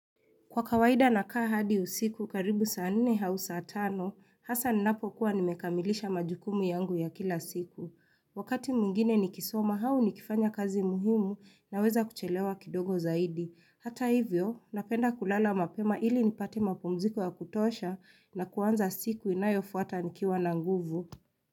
Kwa kawaida na kaa hadi usiku, karibu saa nne hau saa tano, hasa ninapo kuwa nimekamilisha majukumu yangu ya kila siku. Wakati mwingine nikisoma, hau nikifanya kazi muhimu na weza kuchelewa kidogo zaidi. Hata hivyo, napenda kulala mapema ili nipate mapumziko ya kutosha na kuanza siku inayofuata nikiwa na nguvu.